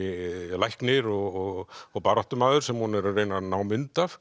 læknir og og baráttumaður sem hún er að reyna að ná mynd af